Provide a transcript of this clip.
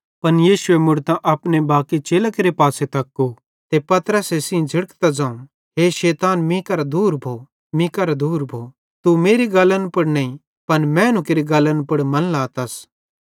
पन यीशुए मुड़तां अपने बाकी चेलां केरे पासे तक्कू ते पतरसे सेइं झ़िड़केइतां ज़ोवं हे शैतान मीं करां दूर भो मतलब एन्च़रां न सोच शैतान तीं करां एन्च़रां ज़ुवाते मीं केरां दूर भोइ गा तू परमेशरेरी गल्लन पुड़ नईं पन मैनू केरि गल्लन पुड़ मन लातस